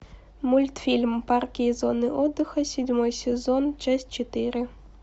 мультфильм парки и зоны отдыха седьмой сезон часть четыре